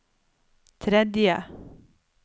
tredje